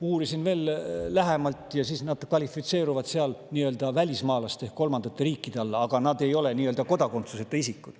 Uurisin veel lähemalt ja nad kvalifitseeruvad seal välismaalaste ehk kolmandate riikide alla, aga nad ei ole kodakondsuseta isikud.